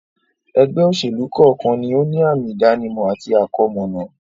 ẹgbẹ́-òsèlú kọ́ọ̀kan ni ó ní àmi-ìdánimọ̀ àti àkọmọ̀nà.